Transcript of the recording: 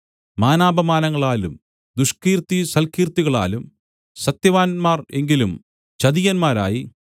മാനാപമാനങ്ങളാലും ദുഷ്കീർത്തിസൽക്കീർത്തികളാലും സത്യവാന്മാർ എങ്കിലും ചതിയന്മാരായി